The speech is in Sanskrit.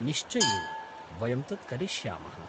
निश्चयेन, वयं तत् करिष्यामः।